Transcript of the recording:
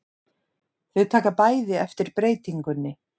Þau taka bæði eftir breytingunni.